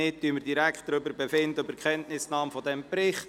Dann befinden wir direkt über die Kenntnisnahme dieses Berichts.